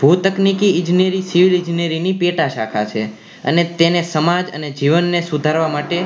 ભુતનેકી ઈજનેરી civil engineering ની પેટા શાખા છે અને તેને સમાજ અને જીવન ને સુધારવા માટે